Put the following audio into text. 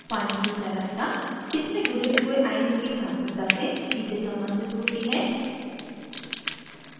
पानी की चालकता इसमें घुले हुए आयनों की सान्द्रता से सीधे सम्बन्धित होती है